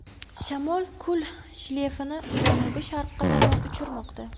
Shamol kul shleyfini janubi-sharqqa tomon uchirmoqda.